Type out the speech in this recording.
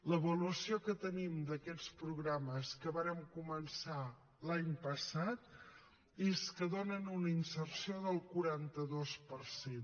l’avaluació que tenim d’aquests programes que vàrem començar l’any passat és que donen una inserció del quaranta dos per cent